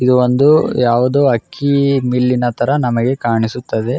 ಇದು ಒಂದು ಯಾವುದೊ ಅಕ್ಕಿ ಬಿಲ್ಲಿನ ‌ ತರ ನಮಗೆ ಕಾಣಿಸುತ್ತದೆ.